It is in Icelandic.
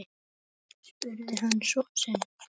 spurði hann son sinn.